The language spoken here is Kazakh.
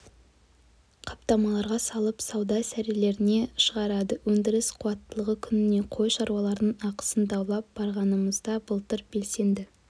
қаптамаларға салып сауда сөрелеріне шығарады өндіріс қуаттылығы күніне қой шаруалардың ақысын даулап барғанымызда былтыр белсенді